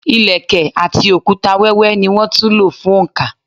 Ilẹ̀kẹ̀ àti òkúta wẹ́wẹ́ ní wón tún lò fún oǹkà.